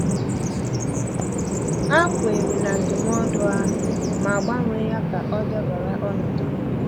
Ha kweere na ndụmọdụ ahụ, ma gbanwee ya ka ọ dabara ọnọdụ ha.